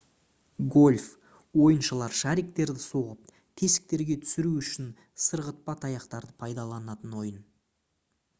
гольф ойыншылар шариктерді соғып тесіктерге түсіру үшін сырғытпа таяқтарды пайдаланатын ойын